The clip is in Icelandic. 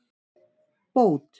Bót